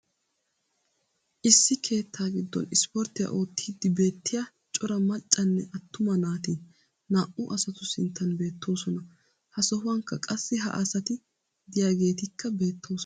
issi keettaa giddon ispporttiyaa oottiidi beetiya cora maccanne atumma naati naa'u asatu sinttan beetoosona. ha sohuwankka qassi ha asati diyaageetikka beetoosona.